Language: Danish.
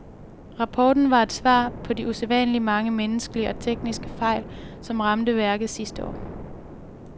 Rapporten var et svar på de usædvanligt mange menneskelige og tekniske fejl, som ramte værket sidste år.